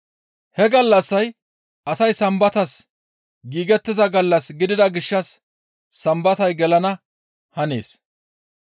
He gallassay asay Sambatas giigettiza gallas gidida gishshas Sambatay gelana hanees.